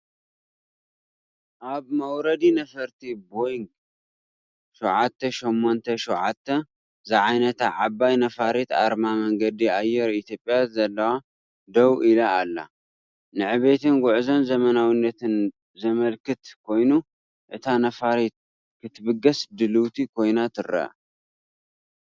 ኣብ መውረዲ ነፈርቲ ቦይንግ 787 ዝዓይነታ ዓባይ ነፋሪት ኣርማ መንገዲ ኣየር ኢትዮጵያ ዘለዋ ደው ኢላ ኣላ። ንዕቤትን ጉዕዞን ዘመናዊነትን ዘመልክት ኮይኑ፡ እታ ነፋሪት ክትብገስ ድልውቲ ኮይና ትረአ።